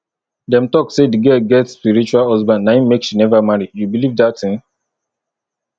dem talk say the girl get spiritual husband na im make she never marry you believe dat thing